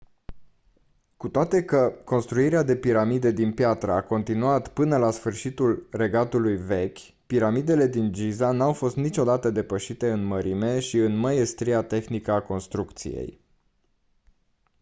cu toate că construirea de piramide din piatră a continuat până la sfârșitul regatului vechi piramidele din giza n-au fost niciodată depășite în mărime și în măiestria tehnică a construcției